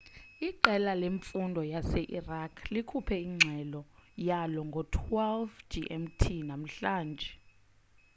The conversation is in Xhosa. iqela lemfundo lase-iraq likhuphe ingxelo yalo ngo-12.00 gmt namhlanje